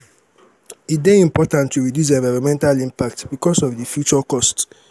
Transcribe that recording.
e dey important to reduce environmental impact because of di future cost